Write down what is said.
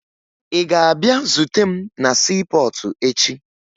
Ị ga-abịa zute m na siipọọtụ echi!